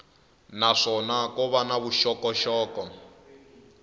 naswona ko va na vuxokoxoko